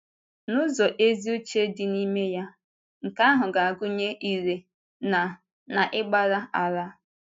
N’ụzọ ezi uche dị n’ime ya, nke ahụ ga-agụnye ire na na ịgbàrà àlà.